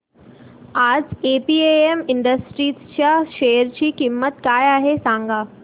आज APM industries च्या share ची किंमत काय आहे सांगा